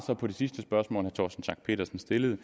på det sidste spørgsmål torsten schack pedersen stillede